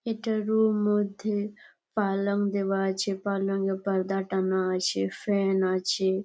এটা রুম মধ্যে পালং দেওয়া আছে পালং এ পারদা টাঙ্গা আছে। ফ্যান আছে।